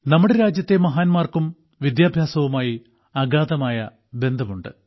നമ്മുടെ രാജ്യത്തെ മഹാന്മാർക്കും വിദ്യാഭ്യാസവുമായി അഗാധമായ ബന്ധമുണ്ട്